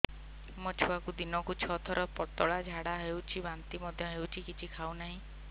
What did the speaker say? ମୋ ଛୁଆକୁ ଦିନକୁ ଛ ସାତ ଥର ପତଳା ଝାଡ଼ା ହେଉଛି ବାନ୍ତି ମଧ୍ୟ ହେଉଛି କିଛି ଖାଉ ନାହିଁ